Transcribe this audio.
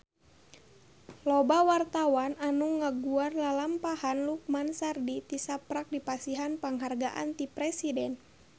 Loba wartawan anu ngaguar lalampahan Lukman Sardi tisaprak dipasihan panghargaan ti Presiden